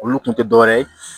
Olu kun te dɔwɛrɛ ye